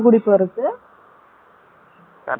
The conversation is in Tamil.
Correct ஆ எட்டு மணி நேரம்.